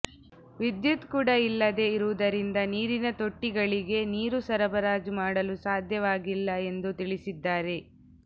ವಿದ್ಯುತ್ ಕೂಡ ಇಲ್ಲದೇ ಇರುವುದರಿಂದ ನೀರಿನ ತೊಟ್ಟಿಗಳಿಗೆ ನೀರು ಸರಬರಾಜು ಮಾಡಲು ಸಾಧ್ಯವಾಗಿಲ್ಲ ಎಂದು ತಿಳಿಸಿದ್ದಾರೆ